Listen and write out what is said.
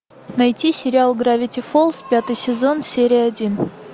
найти сериал гравити фолз пятый сезон серия один